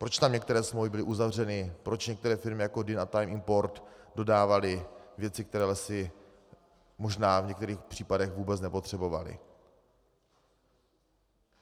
Proč tam některé smlouvy byly uzavřeny, proč některé firmy, jako Dynn a Time Import, dodávaly věci, které Lesy možná v některých případech vůbec nepotřebovaly?